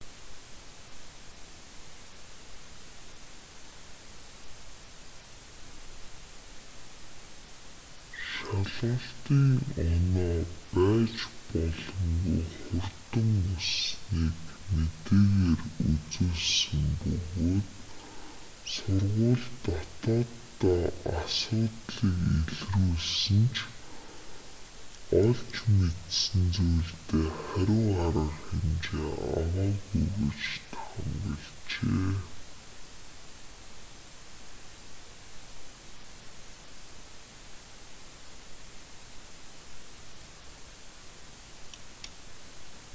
шалгалтын оноо байж боломгүй хурдан өссөнийг мэдээгээр үзүүлсэн бөгөөд сургууль дотооддоо асуудлыг илрүүлсэн ч олж мэдсэн зүйлдээ хариу арга хэмжээ аваагүй гэж таамаглажээ